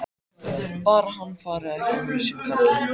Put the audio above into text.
Bara hann fari ekki á hausinn, karlinn.